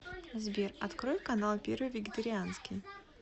сбер открой канал первый вегетарианский